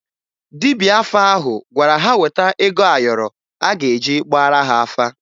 Dibịa afa ahụ gwara ha weta ego ayọrọ a ga-eji gbaara ha afa